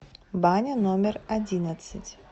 баня номер одиннадцать